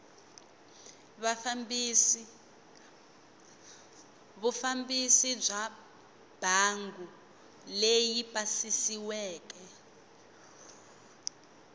vufambisi bya mbangu leyi pasisiweke